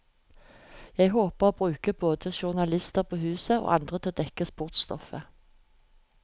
Jeg håper å bruke både journalister på huset, og andre til å dekke sportsstoffet.